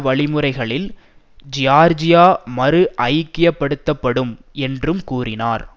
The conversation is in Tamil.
வழிமுறைகளில் ஜியார்ஜியா மறு ஐக்கியப்படுத்தப்படும் என்றும் கூறினார்